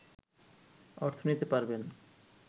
অর্থ নিতে পারবেন